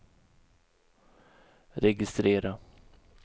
registrera